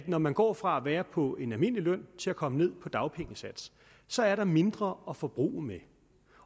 når man går fra at være på en almindelig løn til at komme ned på dagpengesats så er mindre at forbruge med